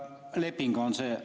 Leping on see.